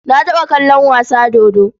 Na taɓa kallon wasa dodo.